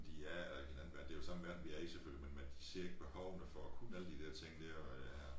I er eller ikke i en anden verden det jo samme verden vi er i selvfølgelig men men de ser ikke behovene for at kunne alle de der ting dér og lære